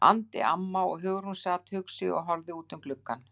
andi amma og Hugrún sat hugsi og horfði út um gluggann.